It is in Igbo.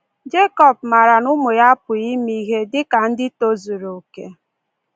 Jekọb maara na ụmụ ya apụghị ime ihe dị ka ndị tozuru oke.